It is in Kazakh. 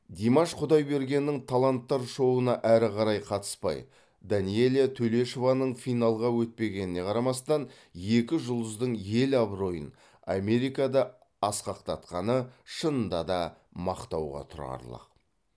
димаш құдайбергеннің таланттар шоуына әрі қарай қатыспай данэлия төлешованың финалға өтпегеніне қарамастан екі жұлдыздың ел абыройын америкада асқақтатқаны шынында да мақтауға тұрарлық